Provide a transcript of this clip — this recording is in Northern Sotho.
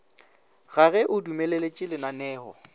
ga ge a dumeletše lananeo